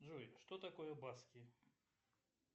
джой что такое баски